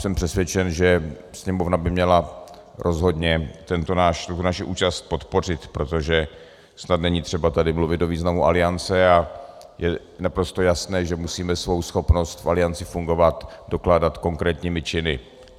Jsem přesvědčen, že Sněmovna by měla rozhodně tuto naši účast podpořit, protože snad není třeba tady mluvit o významu Aliance a je naprosto jasné, že musíme svou schopnost v Alianci fungovat dokládat konkrétními činy.